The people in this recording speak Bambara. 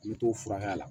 N bɛ t'o furakɛ la